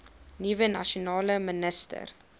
nuwe nasionale minister